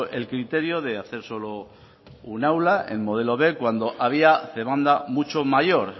el criterio de hacer solo un aula el modelo b cuando había demanda mucho mayor